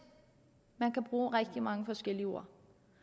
man kan bruge rigtig mange forskellige ord